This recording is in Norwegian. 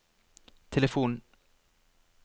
telefon